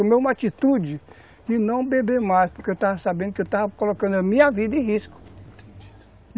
Tomei uma atitude de não beber mais, porque eu estava sabendo que eu estava colocando a minha vida em risco, entendi.